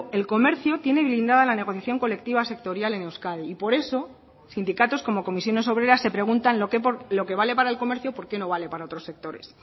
el comercio tiene blindada la negociación colectiva sectorial en euskadi y por eso sindicatos como comisiones obreras se preguntan lo que vale para el comercio por qué no vale para otros sectores